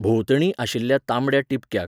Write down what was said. भोंवतणी आशिल्ल्या तांबड्या टिबक्याक